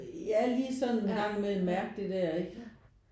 Jah lige sådan en gang imellem mærke det der ikke